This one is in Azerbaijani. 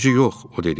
Təbii, yox, o dedi.